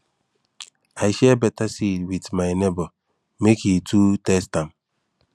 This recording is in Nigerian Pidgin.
i share better seed with my neighbor make him too test am